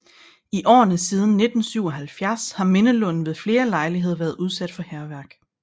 I årene siden 1977 har mindelunden ved flere lejligheder været udsat for hærværk